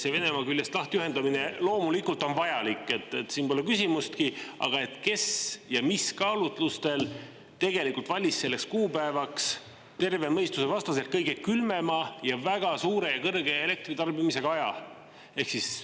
See Venemaa küljest lahtiühendamine loomulikult on vajalik, siin pole küsimustki, aga kes ja mis kaalutlustel valis selleks kuupäevaks terve mõistuse vastaselt kõige külmema ja väga suure elektritarbimisega aja?